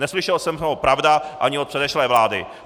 Neslyšel jsem ho, pravda, ani od předešlé vlády.